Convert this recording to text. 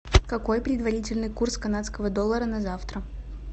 какой предварительный курс канадского доллара на завтра